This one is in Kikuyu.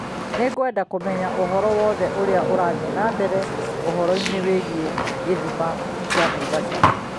Nĩngwenda kũmenya ũhoro wothe ũrĩa ũrathiĩ na mbere ũhoroinĩ wĩgiĩ gĩthima kĩa Naivasha.